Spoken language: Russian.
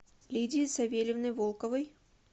лидии савельевны волковой